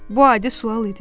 Bu adi sual idi.